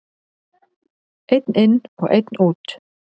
Einn inn og einn út!